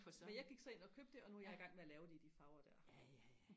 men jeg gik så ind og købte det og nu er jeg igang med og lave det i de farver der